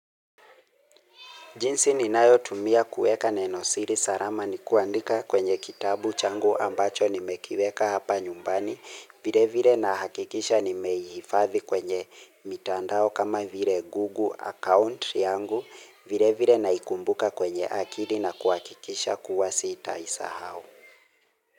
Jinsi ni nayo tumia kuweka nenosiri salama ni kuandika kwenye kitabu changu ambacho ni mekiweka hapa nyumbani, vile vile na hakikisha ni meihifadhi kwenye mitandao kama vile google account yangu, vile vile na ikumbuka kwenye akili na kuhakikisha kuwa sitaisahau.